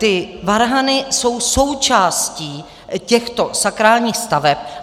Ty varhany jsou součástí těchto sakrálních staveb.